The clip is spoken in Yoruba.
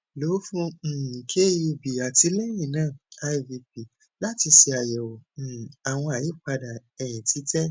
lo fun um kub ati lẹyinna ivp lati ṣe ayẹwo um awọn ayipada ẹyin titẹ